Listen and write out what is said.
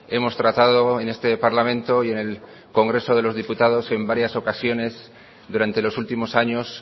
hemos tratado en este parlamento y en el congreso de los diputados en varias ocasiones durante los últimos años